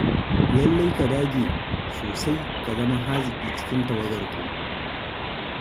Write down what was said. Lallai ka dage sosai ka zama haziƙi cikin tawagar taku.